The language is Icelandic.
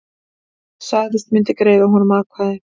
Sagðist hann myndi greiða honum atkvæði